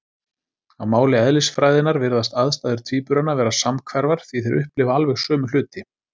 Á máli eðlisfræðinnar virðast aðstæður tvíburanna vera samhverfar, því þeir upplifa alveg sömu hluti.